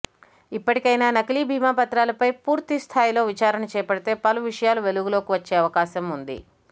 ఇప్పటికైనా నకిలీ బీమా పత్రాలపై పూర్తి స్థాయిలో విచారణ చేపడితే పలు విషయాలు వెలుగులోకి వచ్చే అవకాశం ఉంది